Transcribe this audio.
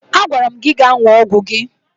Agwara m gị gaa ṅụọ ọgwụ gị!